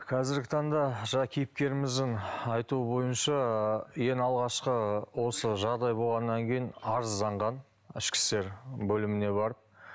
қазіргі таңда жаңағы кейіпкеріміздің айтуы бойынша ең алғашқы осы жағдай болғаннан кейін арызданған ішкі істер бөліміне барып